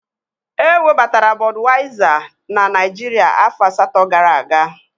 Ewebatara Bọduyaiza na Naijiria afọ asatọ gara aga.